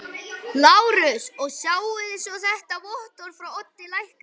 LÁRUS: Og sjáið svo þetta vottorð frá Oddi lækni.